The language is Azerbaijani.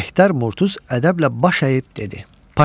Mehtər Murtuz ədəblə baş əyib dedi: